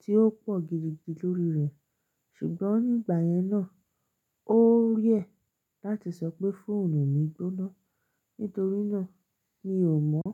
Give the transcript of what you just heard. tí ó pọ̀ gidigidi lórí rẹ̀, ṣùgbọ́n nígbà yẹn náà, ó rare láti sọ pé fóònù mi gbóná. Nítorínà mi ò mọ́.